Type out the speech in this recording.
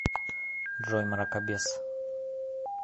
джой мракобес